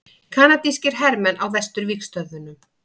Kanadískir hermenn á vesturvígstöðvunum.